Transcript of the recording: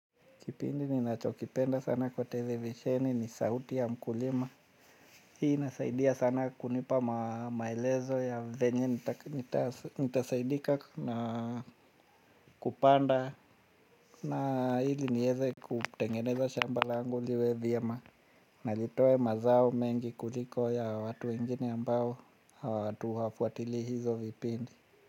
Kipindi ninachokipenda sana kwa televisheni ni 'sauti ya mkulima'. Hii inasaidia sana kunipa maelezo ya venye nitasaidika na kupanda. Na ili niweze kutengeneza shambala langu liwe vyema. Na litoe mazao mengi kuliko ya watu wengine ambao hawafuatilii hizo vipindi.